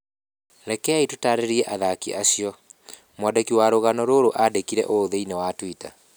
Rekei tũtaarĩrie athaki acio, Mwandĩki wa rũgano rũrũ aandĩkire ũũ thĩinĩ wa Twitter.